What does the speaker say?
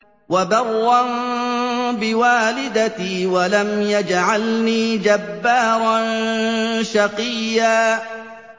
وَبَرًّا بِوَالِدَتِي وَلَمْ يَجْعَلْنِي جَبَّارًا شَقِيًّا